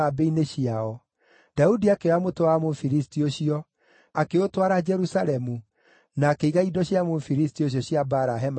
Daudi akĩoya mũtwe wa Mũfilisti ũcio, akĩũtwara Jerusalemu, na akĩiga indo cia Mũfilisti ũcio cia mbaara hema-inĩ yake mwene.